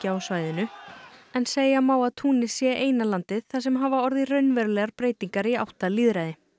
á svæðinu en segja má að Túnis sé eina landið þar sem hafa orðið raunverulegar breytingar í átt að lýðræði